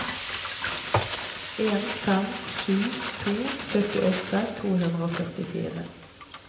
en fem sju to syttiåtte to hundre og førtifire